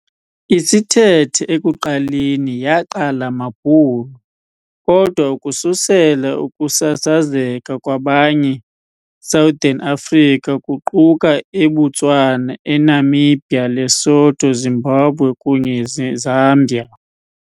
Isithethe ekuqaleni yaqala maBhulu, kodwa ukususela ukusasazeka kwabanye Southern Africa, kuquka eButswana, eNamibia, Lesotho, Zimbabwe kunye Zambia.